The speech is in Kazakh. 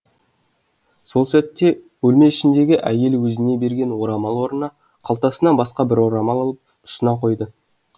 сол сәтте бөлме ішіндегі әйел өзіне берген орамал орнына қалтасынан басқа бір орамал алып ұсына қойды